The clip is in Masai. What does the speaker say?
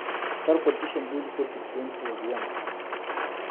Etijing'a ilo bungei siasa aakiti